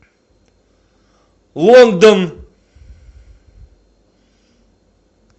лондон